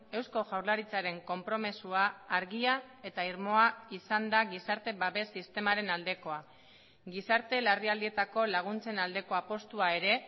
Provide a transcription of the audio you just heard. eusko jaurlaritzaren konpromisoa argia eta irmoa izan da gizarte babes sistemaren aldekoa gizarte larrialdietako laguntzen aldeko apustua ere